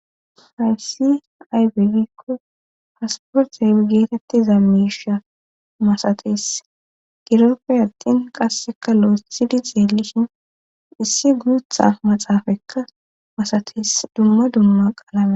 Hayssi aybegikko hasporxee geetettiza miisha masates giroppe attin qasseka lo'o sidi zeelishhin issi gudutha maxaafaekka masates dumma dumma qaalame.